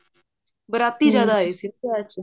ਬਾਰਾਤੀ ਆਏ ਸੀ ਵਿਆਹ ਚ